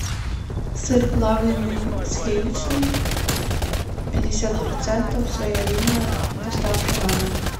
сыр плавленный сливочный пятьдесят процентов своя линия доставка на дом